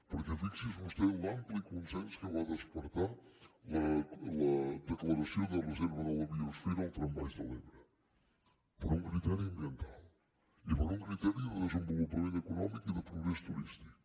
perquè fixi’s vostè l’ampli consens que va despertar la declaració de reserva de la biosfera al tram baix de l’ebre per un criteri ambiental i per un criteri de desenvolupament econòmic i de progrés turístic